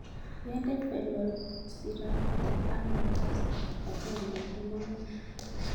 Yende velociraptor ak makasta kipagenge komang'u ne